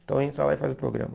Então entra lá e faz o programa.